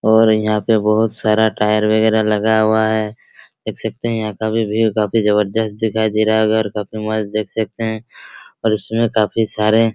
और यहाँ पे बहुत सारा टायर वगैरह लगा हुआ है | देख सकते हैं यहाँ काफी भीड़ काफी जबरजस्त दिखाई दे रहा है और काफी मस्त देख सकते हैं और इसमें काफी सारे --